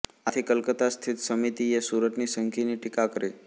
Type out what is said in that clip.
આથી કલકત્તા સ્થિત સમિતિએ સુરતની સંધિની ટીકા કરી